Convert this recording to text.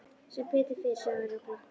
Sem betur fer, sagði Ari og glotti.